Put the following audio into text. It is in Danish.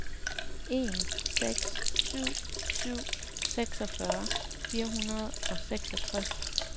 en seks syv syv seksogfyrre fire hundrede og seksogtres